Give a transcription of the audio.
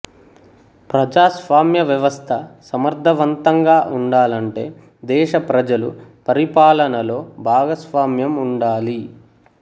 ప్రజాస్వామ్య వ్యవస్థ సమర్థవంతంగా వుండాలంటే దేశ ప్రజలు పరిపాలనలో భాగస్వామం ఉండాలి